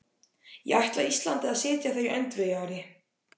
Ég ætla Íslandi að sitja þar í öndvegi, Ari!